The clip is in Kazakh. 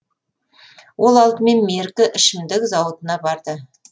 ол алдымен меркі ішімдік зауытына барды